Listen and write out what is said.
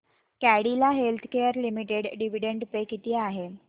Cadila healthcare limited dividend pay किती आहे